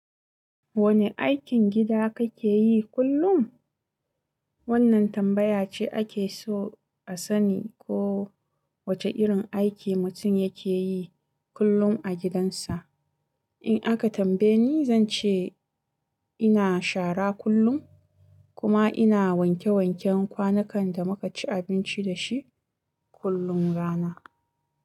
Wane aikin gida kake yi kullum? Wannan tambaya ce ake so a sani ko wace irin aiki mutum yake yi kullum a gidansa. In aka tambaye ni, zan ce ina shara kullum kuma ina wanke-wanken kwanukan da muka ci abinci dashi kullum rana.